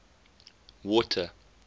water